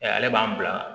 Ale b'an bila